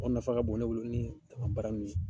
Aw nafa ka bon ne bolo ni dama baara in ye